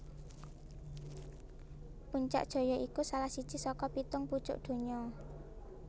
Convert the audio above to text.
Puncak Jaya iku salah siji saka pitung pucuk donya